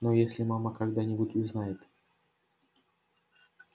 но если мама когда-нибудь узнает